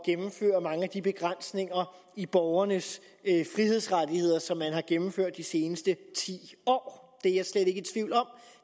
gennemføre mange af de begrænsninger i borgernes frihedsrettigheder som man har gennemført de seneste ti år